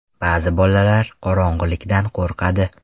Ba’zi bolalar qorong‘ilikdan qo‘rqadi.